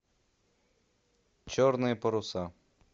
черные паруса